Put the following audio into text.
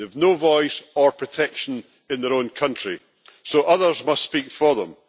They have no voice or protection in their own country, so others must speak for them.